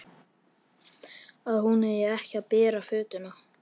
Að hún eigi ekki að bera fötuna.